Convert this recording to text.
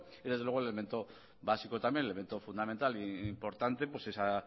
y desde luego el elemento básico el elemento fundamental e importante pues esa